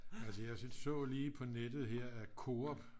altså jeg så lige på nettet her at Coop